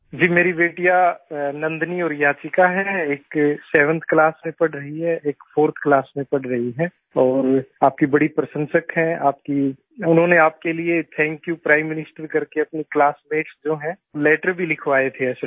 जी मेरी बेटियां नंदनी और याचिका है एक 7th क्लास में पढ़ रही है एक 4th क्लास में पढ़ रही है और आपकी बड़ी प्रशंसक है उन्होंने आपके लिए थैंक्यू प्राइम मिनिस्टर करके अपनी क्लासमेट्स जो हैं लैटर भी लिखवाए थे असल में